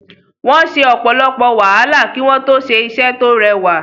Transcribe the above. Wọ́n se ọ̀pọ̀lọpọ̀ wàhálà kí wọ́n tó ṣe iṣẹ́ tó rẹwà.